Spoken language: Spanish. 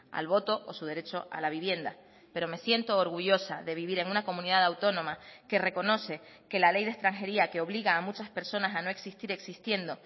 al voto o su derecho a la vivienda pero me siento orgullosa de vivir en una comunidad autónoma que reconoce que la ley de extranjería que obliga a muchas personas a no existir existiendo